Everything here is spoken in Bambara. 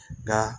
Nka